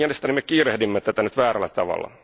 Mielestäni me kiirehdimme tätä nyt väärällä tavalla.